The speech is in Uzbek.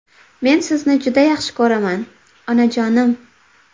Men sizni juda yaxshi ko‘raman, onajonim!